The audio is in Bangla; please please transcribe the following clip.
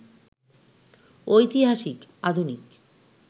ঐতিহাসিক, আধুনিক